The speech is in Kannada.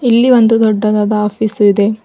ಇಲ್ಲಿ ಒಂದು ದೊಡ್ಡದಾದ ಆಫೀಸ್ ಇದೆ.